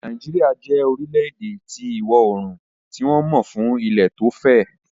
Nàìjíríà jẹ́ orílẹ̀-èdè ti ìwọ oorùn tí wọ́n mọ ń fún ilẹ̀ tí ó fẹ̀